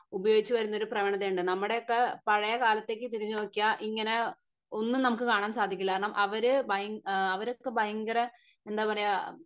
ഉപയോഗിച്ച് വരുന്നൊരു പ്രവണത ഉണ്ട് നമ്മുടെയൊക്കെ പഴയ കാലത്തേക്ക് തിരിഞ്ഞ് നോക്കിയാൽ ഇങ്ങനെ ഒന്നും നമുക്ക് കാണാൻ സാധിക്കില്ല കാരണം അവര് ഭയ അവരൊക്കെ ഭയങ്കര എന്തപറയ